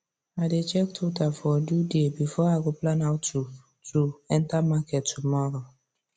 i dey check total for do day before i go plan how to to enter market tomorrow